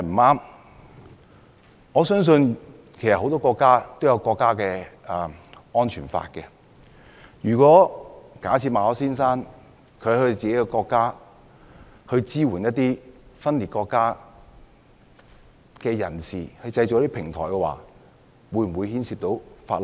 我相信很多國家也有安全法，如果馬凱先生在自己國家支援分裂國家人士，為他們製造平台，會否觸犯法例？